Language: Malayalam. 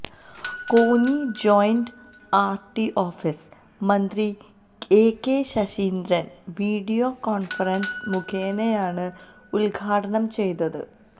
കോന്നി ജോയിന്റ് ആർടിഓഫീസ് മന്ത്രി എകെ ശശീന്ദ്രൻ വീഡിയോ കോൺഫറൻസ് മുഖേനെയാണ് ഉദ്ഘാടനം ചെയ്തത്